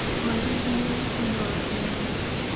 Olemb yien konyo ahinya.